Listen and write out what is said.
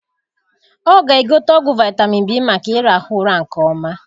Ọ ga egote ọgwụ vitamin B maka irahu ụra nke ọma